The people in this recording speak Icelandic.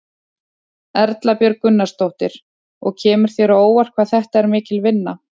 Erla Björg Gunnarsdóttir: Og kemur þér á óvart hvað þetta er mikil vinna?